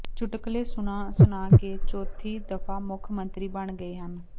ਚੁਟਕਲੇ ਸੁਣਾ ਸੁਣਾ ਕੇ ਚੌਥੀ ਦਫ਼ਾ ਮੁੱਖ ਮੰਤਰੀ ਬਣ ਗਏ ਹਨ